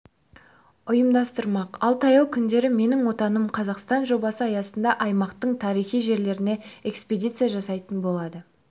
ұйымдастырмақ ал таяу күндері менің отаным қазақстан жобасы аясында аймақтың тарихи жерлеріне экспедиция жасайтын болады